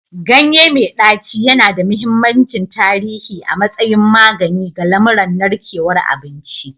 Ganye mai ɗaci yana da mahimmancin tarihi a matsayin magani ga lamuran narkewar abinci.